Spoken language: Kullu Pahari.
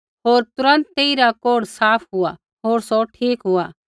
होर तुरन्त तेइरा कोढ़ साफ़ हुआ होर सौ ठीक हुआ